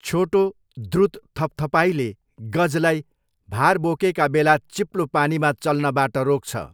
छोटो, द्रुत थपथपाइले गजलाई भार बोकेका बेला चिप्लो पानीमा चल्नबाट रोक्छ।